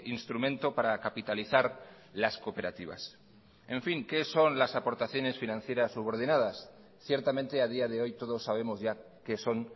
instrumento para capitalizar las cooperativas en fin qué son las aportaciones financieras subordinadas ciertamente a día de hoy todos sabemos ya qué son